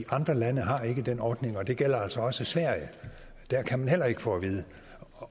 andre lande har ikke den ordning og det gælder altså også sverige der kan man heller ikke få at vide